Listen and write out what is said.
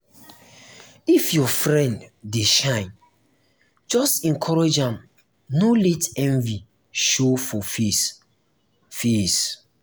if your friend dey shine just encourage am no let envy show for face. face.